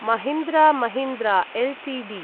Mahindra Mahindra Ltd